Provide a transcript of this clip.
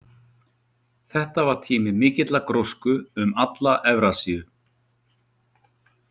Þetta var tími mikillar grósku um alla Evrasíu.